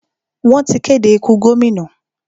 Wọ́n ti kéde ikú gómìnà.